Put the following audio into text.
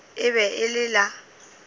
e be e le la